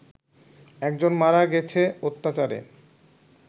একজন মারা গেছে অত্যাচারে